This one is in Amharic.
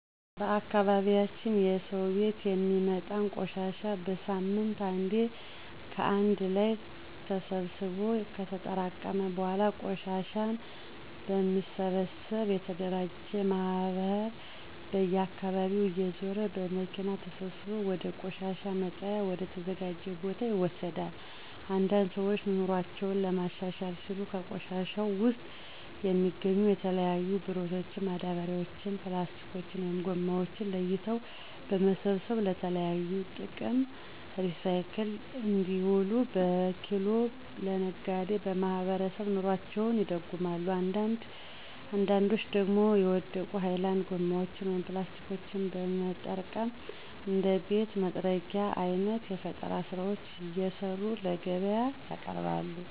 በአካባቢያችን በየሰው ቤት የሚወጣን ቆሻሻ በሳምንት አንዴ ከአንድ ላይ ተሰብስቦ ከተጠራቀመ በኃላ ቆሻሻን በሚሰበሰብ የተደራጀ ማህበር በየአካባቢው እየዞረ በመኪና ተሰብስቦ ወደ ቆሻሻ መጣያ ወደ ተዘጀው ቦታ ይወሰዳል። አንዳንድ ሰዎች ኑሮአቸውን ለማሻሻል ሲሉ ከቆሻሻው ውስጥ የሚገኙ የተለያዩ ብረቶችን፣ ማዳበሪያዎችን፣ ፕላስቲኮችን(ጎማዎችን) ለይቶ በመሰብሰብ ለተለያዩ ጥቅም ሪሳይክል እንዲውሉ በኪሎ ለነጋዴ በማስረከብ ኑሮአቸውን ይደጉማሉ አንዳንዶች ደግሞ የወደቁ ሀይላንድ ጎማዎችን (ፕላስቲኮችን) በመጠቀም እንደ ቤት መጥረጊያ አይነት የፈጠራ ስራዎችን እየሰሩ ለገቢያ ያቀርባሉ።